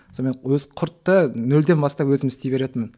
сонымен құртты нөлден бастап өзім істей беретінмін